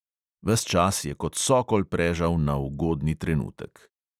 Ves čas je kot sokol prežal na ugodni trenutek.